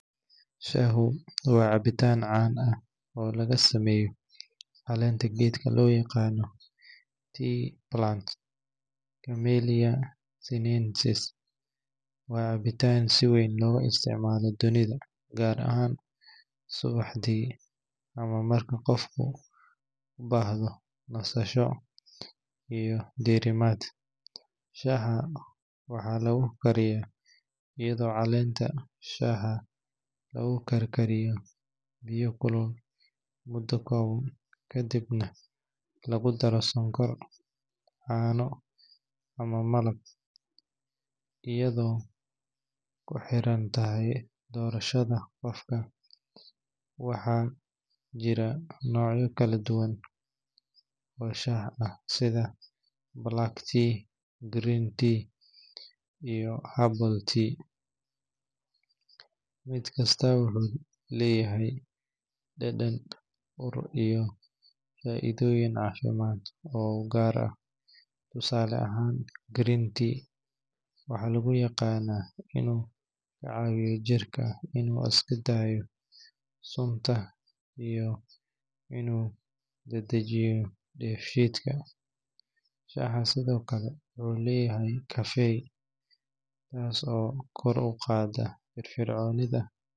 Shahu waa cabitan caan ah oo laga sameeyo caleenta gedka loo yaqaano tea plant amania synergies waa caabitan si weyn loga isticmaalo dunida ,gaar ahaan subaxdii ama marka qofka ubahdo nasasho iyo dirimaad, Shaha waxaa lugu kaariya iyado caleenta shaha lugu kar kariyo biyo kulul muda kooban kadibna lagu daro sonkor, caano ama Malabo iyado kuxirantahay doorashada qofka, waxa jira nocyo kala duban oo Shah ah sida Green tea, black tea iyo herbal tea. mid kastaba wuxuu leyahay dhadhan, ur iyo faa'iidoyin caafimad oo ugar ah, tusale ahan green tea, waxaa lugu yaqana inu caawiyo jirka inu iskadaayo sunta iyo inu dedejiyo dhebshiidka waxa sidokale uu leyahay caffeine taaso kor uqaada firfircoonida